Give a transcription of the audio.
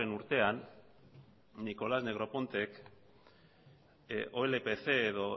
urtean nicholas negropontek olpf edo